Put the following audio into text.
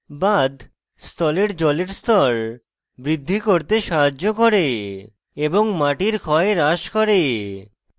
বাঁধ স্থলের জলের স্তর বৃদ্ধি করতে সাহায্য করে এবং মাটির ক্ষয় হ্রাস করে